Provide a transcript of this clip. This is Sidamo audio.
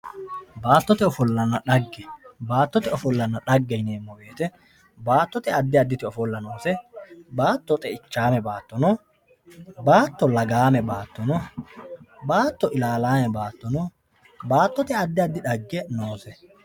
Baatote ofolana dhage baatote ofolana dhage yinemowoyite baatote adi aditi ofola noose baato xeichame baato no baato lagaame baato no baato ilalame baato no baatote adi adi dhage noose.